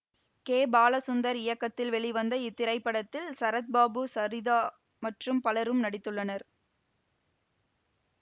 K Balachander இயக்கத்தில் வெளிவந்த இத்திரைப்படத்தில் சரத்பாபு சரிதா மற்றும் பலரும் நடித்துள்ளனர்